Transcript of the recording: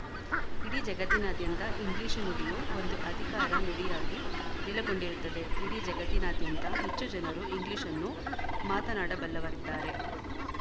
ಇಡೀ ಜಗತ್ತಿನಾದ್ಯಂತ ಇಂಗ್ಲಿಶು ನುಡಿಯು ಒಂದು ಅಧಿಕಾರ ನುಡಿಯಾಗಿ ನೆಲೆಗೊಂಡಿರುತ್ತದೆ ಇಡೀ ಜಗತ್ತಿನಾದ್ಯಂತ ಹೆಚ್ಚು ಜನರು ಇಂಗ್ಲಿಶ್‌ನ್ನು ಮಾತನ್ನಾಡಬಲ್ಲವರಿದ್ದಾರೆ